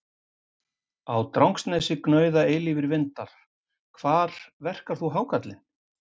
Á Drangsnesi gnauða eilífir vindar Hvar verkar þú hákarlinn?